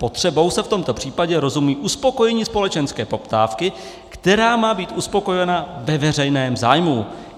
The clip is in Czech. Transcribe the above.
Potřebou se v tomto případě rozumí uspokojení společenské poptávky, která má být uspokojena ve veřejném zájmu.